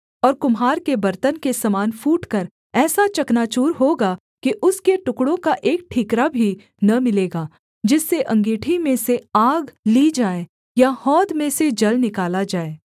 और कुम्हार के बर्तन के समान फूटकर ऐसा चकनाचूर होगा कि उसके टुकड़ों का एक ठीकरा भी न मिलेगा जिससे अँगीठी में से आग ली जाए या हौद में से जल निकाला जाए